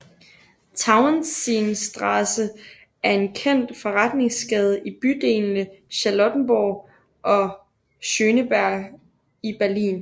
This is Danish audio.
Tauentzienstraße er en kendt forretningsgade i bydelene Charlottenburg og Schöneberg i Berlin